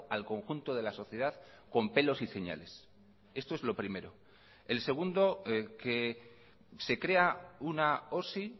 al conjunto de la sociedad con pelos y señales esto es lo primero el segundo que se crea una osi